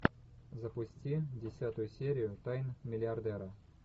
запусти десятую серию тайн миллиардера